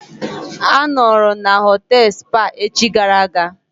A nọọrọ na họtelụ Spa echi gara aga.